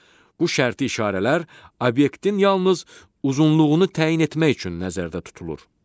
Bu şərti işarələr obyektin yalnız uzunluğunu təyin etmək üçün nəzərdə tutulur.